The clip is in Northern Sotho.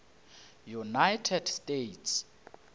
united states